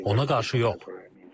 Ona qarşı yox.